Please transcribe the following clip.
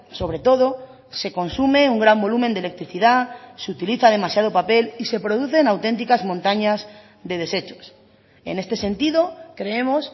sobre todo se consume un gran volumen de electricidad se utiliza demasiado papel y se producen auténticas montañas de deshechos en este sentido creemos